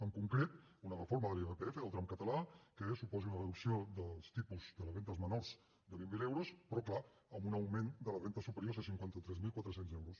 en concret una reforma de l’irpf del tram català que suposi una reducció dels tipus de les rendes menors de vint mil euros però és clar amb un augment de les rendes superiors a cinquanta tres mil quatre cents euros